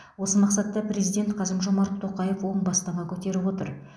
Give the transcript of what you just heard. осы мақсатта президент қасым жомарт тоқаев оң бастама көтеріп отыр